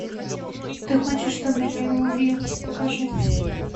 ты хочешь чтобы я его убил покажи